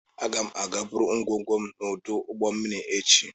Aga m aga buru ngwongwo m n'ọdụ ụgbọ mmiri echi